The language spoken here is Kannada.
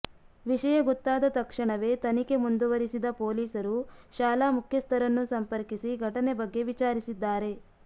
ವಿಷಯ ಗೊತ್ತಾದ ತಕ್ಷಣವೇ ತನಿಖೆ ಮುಂದುವರಿಸಿದ ಪೊಲೀಸರು ಶಾಲಾ ಮುಖ್ಯಸ್ಥರನ್ನು ಸಂಪರ್ಕಿಸಿ ಘಟನೆ ಬಗ್ಗೆ ವಿಚಾರಿಸಿದ್ದಾರೆ